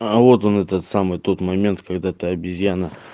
а вот он этот самый тот момент когда ты обезьяна